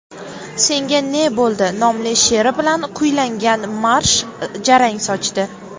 senga ne bo‘ldi nomli she’ri bilan kuylangan marsh jarang sochdi.